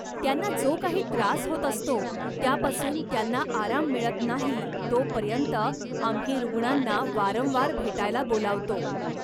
त्यांना जो काही त्रास होत असतो त्यापासून त्यांना आराम मिळत नाही तोपर्यंत आम्ही रुग्णांना वारंवार भेटायला बोलावतो.